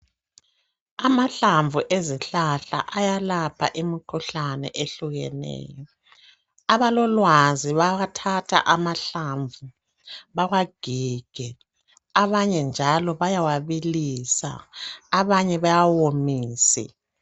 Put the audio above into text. Amahlamvu ezihlahla ayalapha imkhuhlane ehlukeneyo. Abalolwazi bawathatha amahlamvu bawagige abanye njalo bayawabilisa abanye bawawomise.